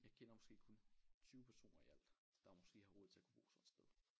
Jeg kender måske kun 20 personer i alt der måske har råd til at kunne bo sådan et sted